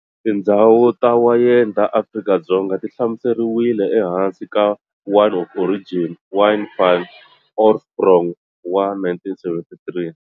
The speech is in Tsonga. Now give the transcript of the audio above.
Tindzhawu ta wayeni ta Afrika-Dzonga ti hlamuseriwile ehansi ka"Wine of Origin", "Wyn van Oorsprong", wa 1973.